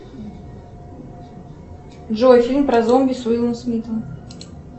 джой фильм про зомби с уиллом смитом